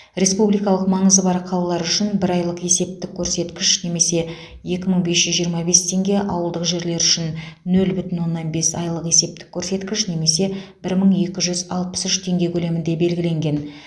республикалық маңызы бар қалалар үшін бір айлық есептік көрсеткіш немесе екі мың бес жүз жиырма бес теңге ауылдық жерлер үшін нөл бүтін оннан бес айлық есептік көрсеткіш немесе бір мың екі жүз алпыс үш теңге көлемінде белгіленген